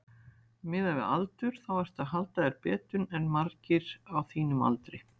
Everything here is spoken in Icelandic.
Miðað við aldur þá ertu að halda þér betur en margir á þínum aldri?